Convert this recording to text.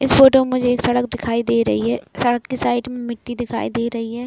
इस फोटो में मुझे एक सड़क दिखाई दे रही है सड़क के साइड में मिट्टी दिखाई दे रही है।